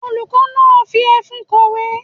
Olùkọ́ náà ń fi ẹfun kọ̀wé.